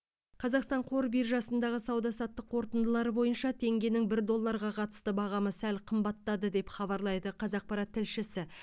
қазақстан қор биржасындағы сауда саттық қорытындылары бойынша теңгенің бір долларға қатысты бағамы сәл қымбаттады деп хабарлайды қазақпарат тілшісі